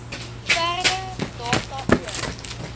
verdere data oor